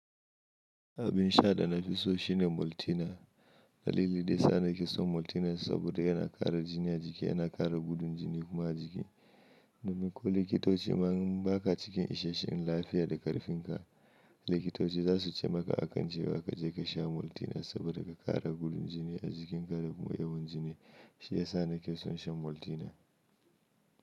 Abin sha da na fi so shine Maltina. Dalili daya sa na ke son Maltina saboda yana ƙara jini a jiki, yana ƙara gudun jini kuma a jiki. Domin ko likitoci ma in baka cikin isasshen lafiya da ƙarfin ka, likitoci za su ce maka akan cewa kaje ka sha Maltina saboda ka ƙara gudun jini a jikin ka da kuma yawan jini. Shi ya sa na ke son shan Maltina.